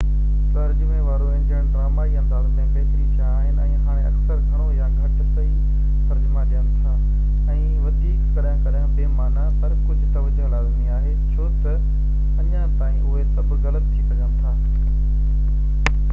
ترجمي وارو انجڻن ڊرامائي انداز ۾ بهتري ٿيا آهن، ۽ هاڻي اڪثر گهڻو يا گهٽ صحيح ترجما ڏين ٿا ۽ وڌيڪ ڪڏهن ڪڏهن بي معنيٰ، پر ڪجهہ توجهہ لازمي آهي، ڇو تہ اڃا تائين اهي سڀ غلط ٿي سگهن ٿا